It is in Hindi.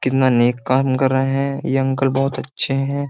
कितना नेक काम कर रहे हैं। ये अंकल बोहोत अच्छे हैं।